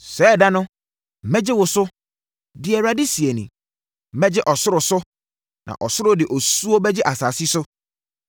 “Saa ɛda no, mɛgye wo so,” deɛ Awurade seɛ nie. “Mɛgye ɔsoro so, na ɔsoro de osuo bɛgye asase so,